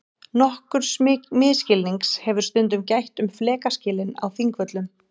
Nokkurs misskilnings hefur stundum gætt um flekaskilin á Þingvöllum.